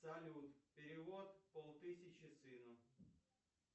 салют перевод пол тысячи сыну